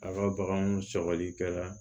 A ka baganw sɔgɔlikɛla